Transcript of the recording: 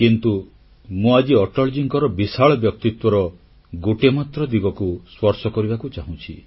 କିନ୍ତୁ ମୁଁ ଆଜି ଅଟଳଜୀଙ୍କର ବିଶାଳ ବ୍ୟକ୍ତିତ୍ୱର ଗୋଟିଏ ମାତ୍ର ଦିଗକୁ ସ୍ପର୍ଶ କରିବାକୁ ଚାହୁଁଛି